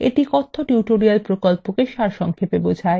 এটি কথ্য tutorial প্রকল্পকে সারসংক্ষেপে বোঝায়